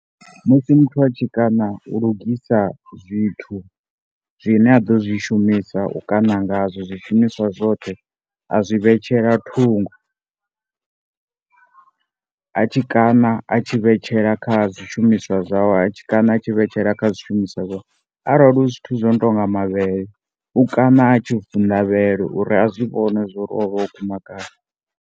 Musi muthu atshi kaṋa u lugisa zwithu zwine a ḓo zwi shumisa u kaṋa nga zwo zwi shumiswa zwoṱhe a zwi vhe tshela thungo a tshi ṋa tshi vhetshela kha zwi shumiswa zwawe a tshi kana a tshi vhetshela kha zwi shumiswa zwawe. Arali hu zwithu zwino tonga mavhele u kana a tshi vunḓa vhele uri a zwi vhone uri o o guma gai.